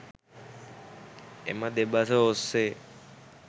එම දෙබස ඔස්සේ